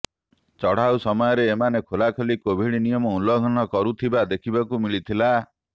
ଚଢାଉ ସମୟରେ ଏମାନେ ଖୋଲାଖୋଲି କୋଭିଡ୍ ନୀିୟମ ଉଲଂଘନ କରୁଥିବା ଦେଖିବାକୁ ମିଳିଥିଲା